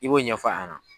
I b'o ɲɛfɔ a ɲɛna